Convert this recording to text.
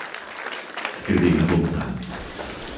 Skrbela bom zanj.